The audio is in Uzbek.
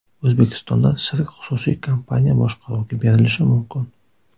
O‘zbekistonda sirk xususiy kompaniya boshqaruviga berilishi mumkin.